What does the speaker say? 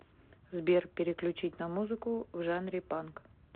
сбер переключить на музыку в жанре панк